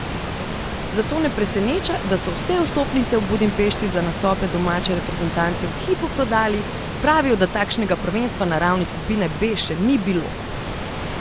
Zato ne preseneča, da so vse vstopnice v Budimpešti za nastope domače reprezentance v hipu prodali, pravijo, da takšnega prvenstva na ravni skupine B še ni bilo!